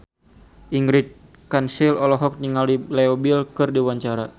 Ingrid Kansil olohok ningali Leo Bill keur diwawancara